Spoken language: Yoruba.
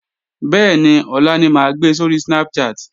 Bẹ́ẹ̀ni ọlá ni máa gbe sóri Snapchat